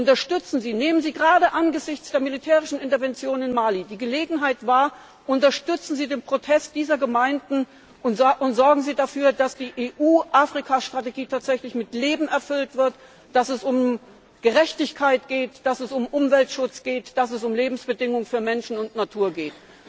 Unterstützen Sie nehmen Sie gerade angesichts der militärischen Intervention in Mali die Gelegenheit wahr unterstützen Sie den Protest dieser Gemeinden und sorgen Sie dafür, dass die EU Afrika Strategie tatsächlich mit Leben erfüllt wird, dass es um Gerechtigkeit geht, dass es um Umweltschutz geht, dass es um Lebensbedingungen für Menschen und Natur geht.